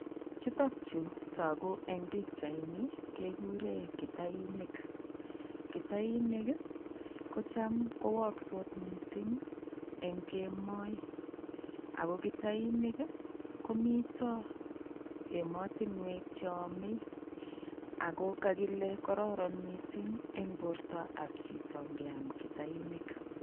Chutok chutoku eng' pichaini kekuren kitainik, kitainik kocham kowokso mising eng' kemoi ak ko kitainik komito emotinwek cheome ak ko kokile kororon mising eng' bortab chito ingeam kitainik.